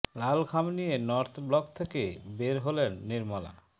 লাল খাম নিয়ে North Block থেকে বের হলেন নির্মলা